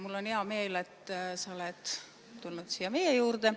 Mul on hea meel, et sa oled tulnud siia meie juurde.